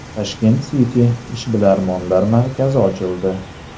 Tashkent City ishbilarmonlar markazi ochildi.